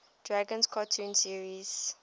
dragons cartoon series